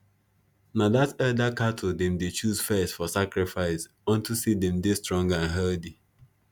na that elder cattle them dey choose first for sacrifice onto say them dey strong and healthy